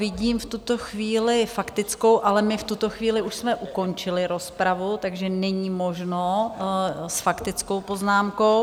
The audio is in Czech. Vidím v tuto chvíli faktickou, ale my v tuto chvíli už jsme ukončili rozpravu, takže není možno s faktickou poznámkou.